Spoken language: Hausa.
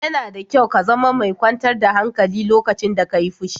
Yana da kyau ka zama mai kyantar da hankali lokacin da ka yi fushi.